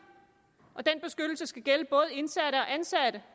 og den beskyttelse skal gælde både indsatte og ansatte